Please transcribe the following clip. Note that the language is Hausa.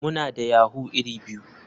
Muna da yahoo iri biyu.